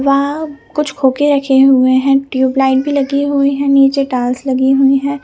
वहाँ कुछ खोखे रखे हुए है टियूब लाइट भी लगी हुई है निचे टाइल्स भी लगी हुई है ।